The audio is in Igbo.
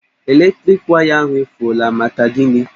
Eletriki waya ahụ efuọla, maka gini?